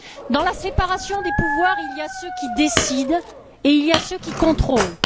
Dans la séparation des pouvoirs, il y a ceux qui décident et il y a ceux qui contrôlent.